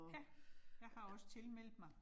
Ja, jeg har også tilmeldt mig